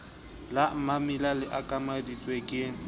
la mammila le okametsweng ke